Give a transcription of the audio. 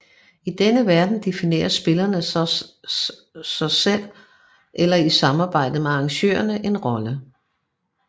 I denne verden definerer spillerne så selv eller i samarbejde med arrangørerne en rolle